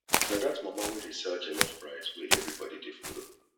na dat mama wey dey sell jollof rice wey everybody dey follow